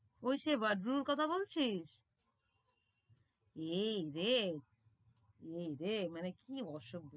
ওই সেই বদরুর কথা বলছিস? এইরে এইরে মানে কি অসভ্য।